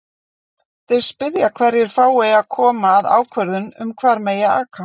Þeir spyrja hverjir fái að koma að ákvörðun um hvar megi aka?